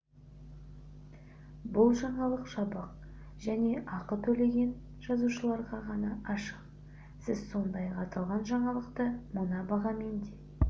бұл жаңалық жабық және ақы төлеген жазылушыларға ғана ашық сіз сондай-ақ аталған жаңалықты мына бағамен де